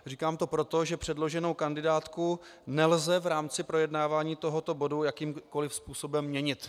Říkám to proto, že předloženou kandidátku nelze v rámci projednávání tohoto bodu jakýmkoliv způsobem měnit.